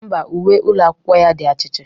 Ḿbà, uwe ụlọ akwụkwọ ya di achichi